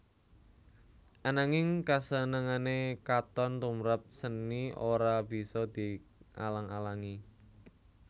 Ananging kasenengané katon tumprap séni ora bisa dialang alangi